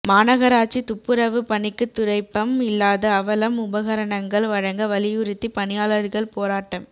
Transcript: மாநகராட்சி துப்புரவு பணிக்கு துடைப்பம் இல்லாத அவலம் உபகரணங்கள் வழங்க வலியுறுத்தி பணியாளர்கள் போராட்டம்